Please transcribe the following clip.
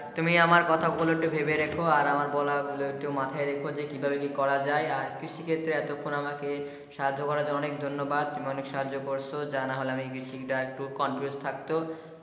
তুমি আমার কথা গুলো একটু ভেবে রেখো আর একটু মাথায় রেখো যে কীভাবে কি করা যায় আর কৃষি ক্ষেত্রে এতক্ষণ আমাকে সাহায্য করার জন্য অনেক ধন্যবাদ অনেক সাহায্য করছ জানা হলো আমি কৃষিকাজ টা একটু confuse থাকতো।